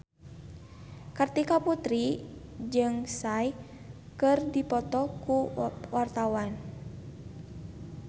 Kartika Putri jeung Psy keur dipoto ku wartawan